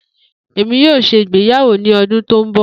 Emi yoo ṣe igbeyawo ni ọdun to nbọ